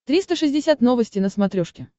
триста шестьдесят новости на смотрешке